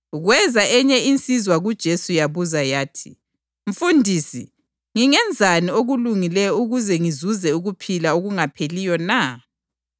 Kweza enye insizwa kuJesu yabuza yathi, “Mfundisi, ngingenzani okulungileyo ukuze ngizuze ukuphila okungapheliyo na?”